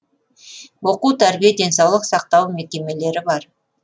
оқу тәрбие денсаулық сақтау мекемелері бар